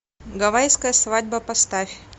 гавайская свадьба поставь